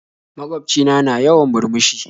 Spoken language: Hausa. Magwaobci na, na yawan murmushi